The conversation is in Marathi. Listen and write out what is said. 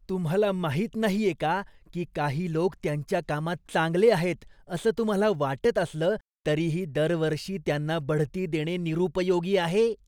तुम्हाला माहीत नाहीये का की काही लोक त्यांच्या कामात चांगले आहेत असं तुम्हाला वाटत असलं तरीही दरवर्षी त्यांना बढती देणे निरुपयोगी आहे?